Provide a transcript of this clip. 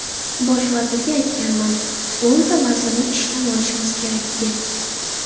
Bosh vazirga aytganman, o‘nta vazirni ishdan olishimiz kerak, deb.